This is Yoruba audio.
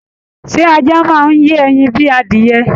Ṣé ajá máa n yé ẹyin bíi adiyẹ?